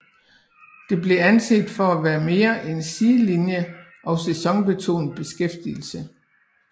Det blev anset for at være mere en sidelinje og sæsonbestemt beskæftigelse